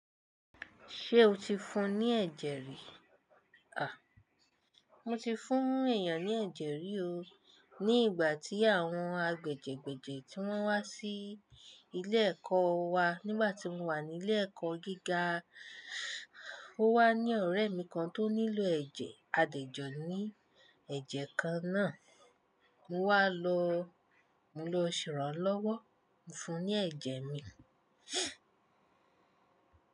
Ṣé o ti fún ní ẹ̀jẹ̀ rí? À, mo ti fún èèyàn ní ẹ̀jẹ̀ rí o. Ní ìgbà tí àwọn agbẹ̀jẹgbẹ̀jẹ tí wọ́n wá sí ilé ẹ̀kọ́ wa, nígbà tí mo wà ní ilé ẹ̀kọ́ gíga. Ó wà ní ọ̀rẹ́ mi kan tó nílò ẹ̀jẹ̀ àdejò ní ẹ̀jẹ̀ kan náà. Mo wá lọ, mo lọ sịrọ́ lọ́wọ́, mo fún ní ẹ̀jẹ̀ mi.